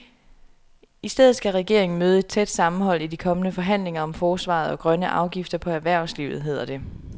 I stedet skal regeringen møde et tæt sammenhold i de kommende forhandlinger om forsvaret og grønne afgifter på erhvervslivet, hedder det.